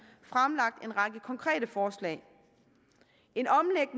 fremlagt en række konkrete forslag